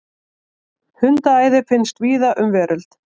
Hundaæði finnst víða um veröld.